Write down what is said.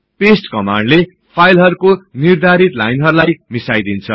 paste कमान्डले फाईलहरुको निर्धारित लाइनहरुलाई मिसाइदिन्छ